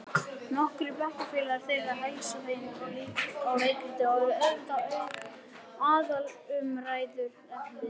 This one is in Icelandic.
Nokkrir bekkjarfélagar þeirra heilsa þeim og leikritið er auðvitað aðalumræðuefnið.